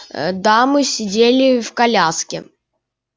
дамы сидели в коляске